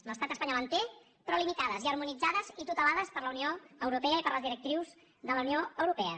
l’estat espanyol en té però limitades i harmonitzades i tutelades per la unió europea i per les directrius de la unió europea